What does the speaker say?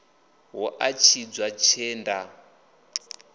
hu a tshidza tshee nda